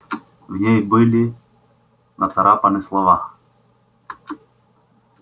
в ней были нацарапаны слова